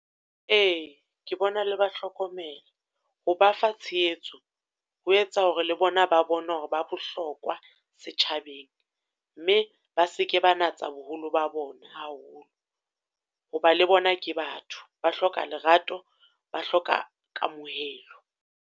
Ee, ke bona le ba hlokomela, ho ba fa tshehetso, ho etsa hore le bona ba bone hore ba bohlokwa setjhabeng. Mme ba seke ba natsa boholo ba bona haholo. Ho ba le bona ke batho, ba hloka lerato, ba hloka kamohelo.